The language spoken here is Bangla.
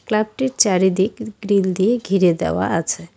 ক্লাবটির চারিদিক গ্রিল দিয়ে ঘিরে দেওয়া আছে।